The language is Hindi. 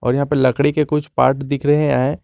यहां पे लकड़ी के कुछ पार्ट दिख रहे हैं।